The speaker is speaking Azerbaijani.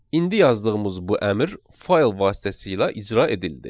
İndi yazdığımız bu əmr fayl vasitəsilə icra edildi.